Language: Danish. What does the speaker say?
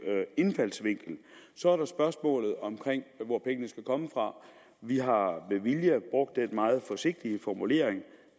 indfaldsvinkel så er der spørgsmålet om hvor pengene skal komme fra vi har med vilje brugt den meget forsigtige formulering